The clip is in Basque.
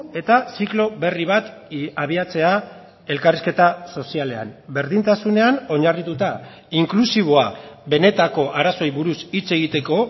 eta ziklo berri bat abiatzea elkarrizketa sozialean berdintasunean oinarrituta inklusiboa benetako arazoei buruz hitz egiteko